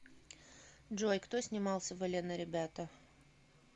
джой кто снимался в элен и ребята